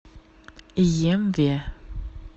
емве